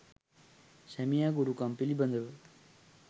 සැමියා ගුරුකම් පිළිබඳව